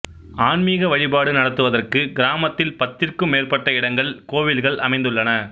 ஆன்மீக வழிபாடு நடத்துவதற்கு கிராமத்தில் பத்திற்கும் மேற்பட்ட இடங்களில் கோவில்கள் அமைந்துள்ளன